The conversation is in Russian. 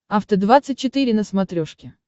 афта двадцать четыре на смотрешке